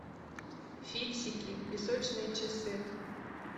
фиксики песочные часы